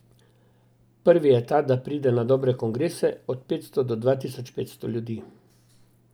Prvi je ta, da pride na dobre kongrese od petsto do dva tisoč petsto ljudi.